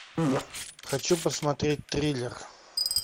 хочу посмотреть триллер